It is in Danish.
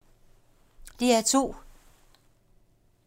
DR2